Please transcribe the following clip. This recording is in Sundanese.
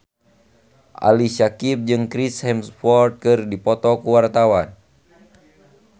Ali Syakieb jeung Chris Hemsworth keur dipoto ku wartawan